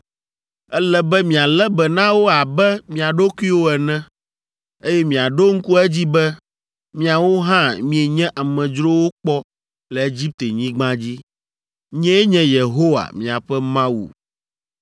Ele be mialé be na wo abe mia ɖokuiwo ene, eye miaɖo ŋku edzi be miawo hã mienye amedzrowo kpɔ le Egiptenyigba dzi. Nyee nye Yehowa, miaƒe Mawu!